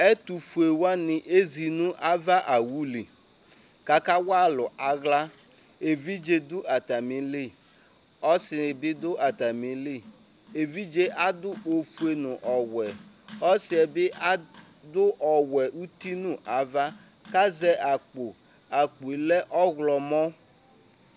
ɛtofue wani ezi n'ava owu li k'aka wa alo ala evidze do atami li ɔse bi do atami li evidze ado ofue no ɔwɛ ɔsiɛ bi ado ɔwɛ uti no ava k'azɛ akpo akpoe lɛ ɔwlɔmɔ